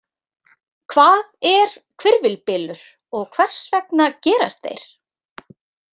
Hvað er hvirfilbylur og hvers vegna gerast þeir?